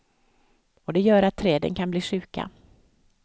Och det gör att träden blir sjuka.